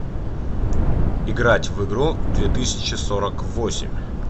играть в игру две тысячи сорок восемь